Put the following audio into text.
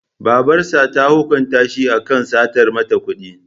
Babarsa ta hukunta shi akan satar mata kuɗi.